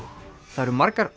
það eru margar